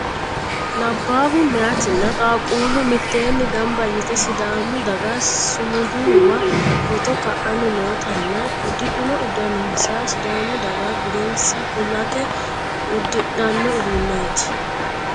Labbaahu meyaatinna qaaqquullu mitteenni gamba yite sidaamu daga sumudiwa footo ka'anni noota nna uddidhino uduunninsa sidaamu daga budensa kulate uddidhanno uduuneeti.